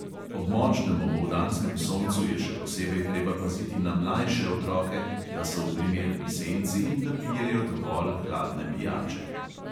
Ob močnem opoldanskem soncu je še posebej treba paziti na mlajše otroke, da so v primerni senci in da pijejo dovolj hladne pijače.